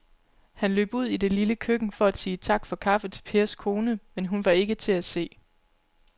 Han løb ud i det lille køkken for at sige tak for kaffe til Pers kone, men hun var ikke til at se.